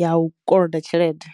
ya u koloda tshelede.